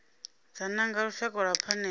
do nanga lushaka lwa phanele